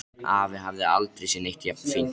Afi hafði aldrei séð neitt jafn fínt.